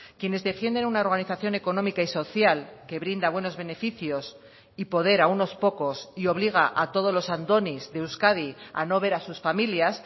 quienes defienden una organización económica y social que brinda buenos beneficios y poder a unos pocos y obliga a todos los andonis de euskadi a no ver a sus familias